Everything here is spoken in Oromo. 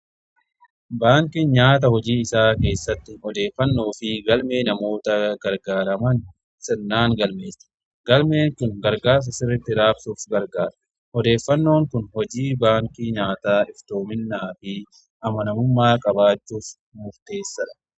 baankiin nyaata hojii isaa keessatti odeeffannoo fi galmee namoota gargaaraman sirnaan galmeessa. galmeen kun gargaasa sirritti raabsuuf gargaara. odeeffannoon kun hojii baankii nyaataa iftoominaa fi amanamummaa qabaachuuf murteessadha.